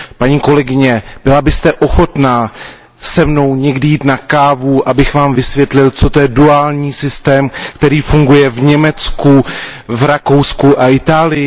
Paní kolegyně, byla byste ochotná se mnou někdy jít na kávu, abych vám vysvětlil, co to je duální systém, který funguje v Německu, v Rakousku a v Itálii?